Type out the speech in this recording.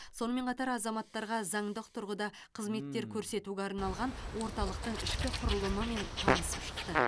сонымен қатар азаматтарға заңдық тұрғыда қызметтер көрсетуге арналған орталықтың ішкі құрылымымен танысып шықты